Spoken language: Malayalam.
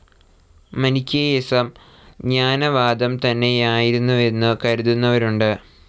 മനിക്കേയിസം ജ്ഞാനവാദം തന്നെയായിരുന്നുവെന്നു കരുതുന്നവരുണ്ട്.